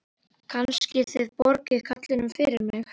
Kannski þið borgið karlinum fyrir mig.